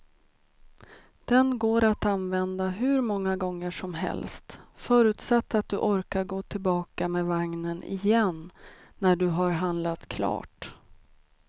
Den går att använda hur många gånger som helst, förutsatt att du orkar gå tillbaka med vagnen igen när du har handlat klart.